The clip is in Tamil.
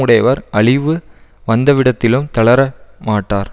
உடையவர் அழிவு வந்தவிடத்திலும் தளர மாட்டார்